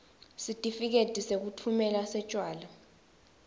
sitifiketi sekutfumela setjwala